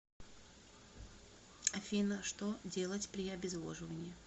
афина что делать при обезвоживании